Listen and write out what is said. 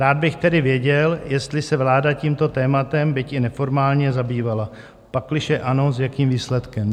Rád bych tedy věděl, jestli se vláda tímto tématem byť i neformálně zabývala, pakliže ano, s jakým výsledkem.